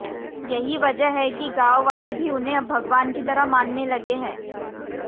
यही वजह है कि गांव वाले भी उन्हें अब भगवान की तरह मानने लगे हैं